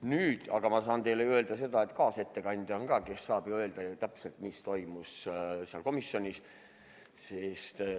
Nüüd aga saan teile öelda seda, et ka kaasettekandja saab ju öelda, mis täpselt komisjonis toimus.